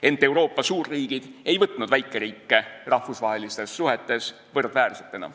Ent Euroopa suurriigid ei võtnud väikeriike rahvusvahelistes suhetes võrdväärsena.